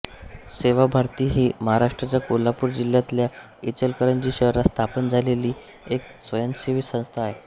सेवाभारती ही महाराष्ट्राच्या कोल्हापूर जिल्ह्यातल्या इचलकरंजी शहरात स्थापन झालेली एक स्वयंसेवी संस्था आहे